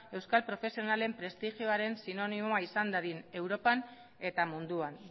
euskal profesionalen prestigioaren sinonimoa izan dadin europan eta munduan